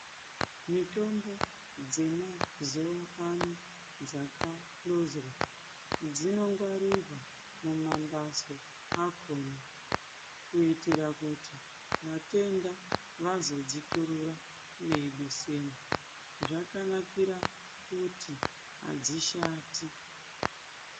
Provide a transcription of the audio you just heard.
Mitombo dzemazuva ano dzakahlozwa dzinongwarirwa mumambatso akona kuitira kuti vatenda vazodziturura veidusemwo. Zvakanakira kuti hadzishati.